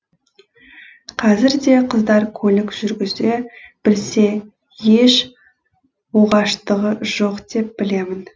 қазірде қыздар көлік жүргізе білсе еш оғаштығы жоқ деп білемін